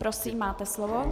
Prosím, máte slovo.